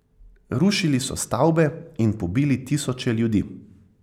Rušili so stavbe in pobili tisoče ljudi.